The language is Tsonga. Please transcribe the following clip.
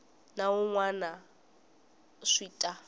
na wun wana swi ta